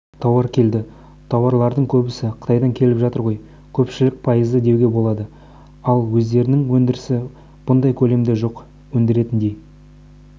базарға тауар келеді тауарлардың көбісі қытайдан келіп жатыр ғой көпшілігі пайыз деуге болады ал өздерінің өндірісі бұндай көлемде жоқ өндіретіндей